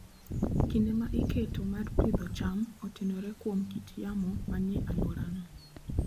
Kinde ma iketo mar pidho cham otenore kuom kit yamo manie alworano.